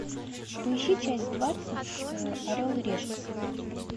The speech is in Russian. поищи часть двадцать орел и решка